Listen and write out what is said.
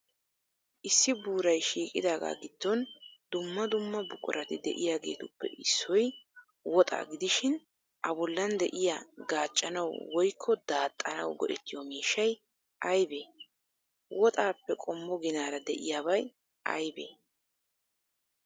Issi buuray shiiqidaaga giddon dumma dumma buqurati de'iyaageetuppe issoy woxaa gidishin,A bollan de'iya gaaccanawu woykko daaxxanawu go'ettiyo miishshay aybee? Woxaappe qommo ginaara de'iyaabay aybee?